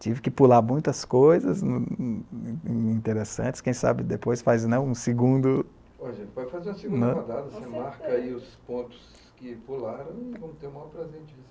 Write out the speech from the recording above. Tive que pular muitas coisas interessantes, quem sabe depois faz um segundo... Pode fazer uma segunda dada, você marca aí os pontos que pularam e vamos ter o maior prazer de receber.